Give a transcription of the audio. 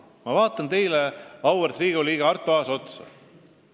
Ma vaatan teile, auväärt Riigikogu liige Arto Aas, otsa.